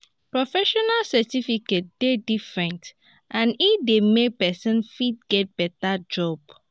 professional certificate de different and e de make persin fit get better job